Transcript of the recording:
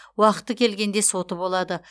уақыты келгенде соты болады